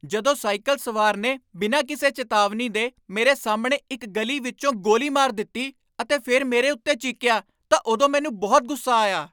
ਜਦੋਂ ਸਾਈਕਲ ਸਵਾਰ ਨੇ ਬਿਨਾਂ ਕਿਸੇ ਚੇਤਾਵਨੀ ਦੇ ਮੇਰੇ ਸਾਹਮਣੇ ਇੱਕ ਗਲੀ ਵਿੱਚੋਂ ਗੋਲੀ ਮਾਰ ਦਿੱਤੀ ਅਤੇ ਫਿਰ ਮੇਰੇ ਉੱਤੇ ਚੀਕਿਆ ਤਾਂ ਉਦੋਂ ਮੈਨੂੰ ਬਹੁਤ ਗੁੱਸਾ ਆਇਆ।